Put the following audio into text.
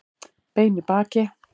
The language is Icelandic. Bein í baki